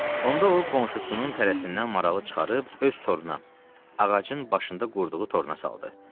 Onda o qonşusunun tələsindən maralı çıxarıb öz toruna, ağacın başında qurduğu toruna saldı.